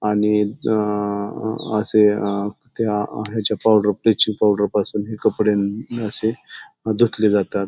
आणि अ असे अ त्या हेच्या पावडर ब्लिचिंग पावडर पासून हे कपडे असे धुतले जातात.